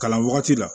Kalan wagati la